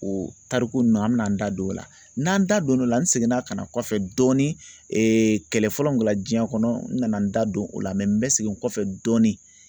O tariku nunnu an bɛna n da don o la, n'an da don o la n seginna ka na kɔfɛ dɔɔni kɛlɛ fɔlɔ min kɛla diɲɛ kɔnɔ n nana n da don o la n bɛ segin n kɔfɛ dɔɔni.